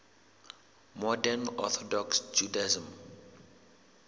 modern orthodox judaism